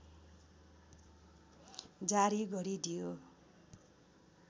जारी गरिदियो